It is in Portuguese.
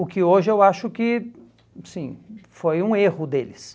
O que hoje eu acho que, sim, foi um erro deles.